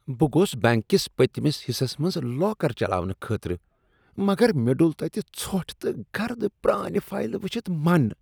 بہٕ گوس بنٛک کس پتمس حصس منٛز لاکر چلاونہٕ خٲطرٕ، مگر مےٚ ڈوٚل تتہ ژھۄٹھ تہٕ گرد پرانہِ فایلہٕ وُچھتھ من۔